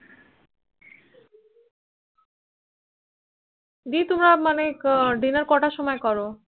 দি তোমরা মানে Dinner কতার সময় করো